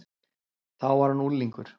Þá var hann unglingur.